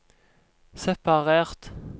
separert